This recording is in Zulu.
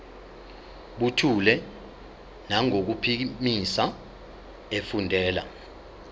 buthule nangokuphimisa efundela